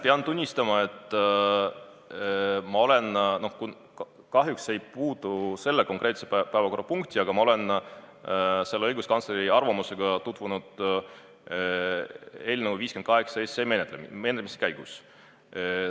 Pean tunnistama, et kahjuks see ei puutu sellesse konkreetsesse päevakorrapunkti, aga ma olen selle õiguskantsleri arvamusega tutvunud eelnõu 58 menetlemise käigus.